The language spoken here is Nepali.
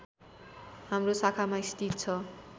हाम्रो शाखामा स्थित छ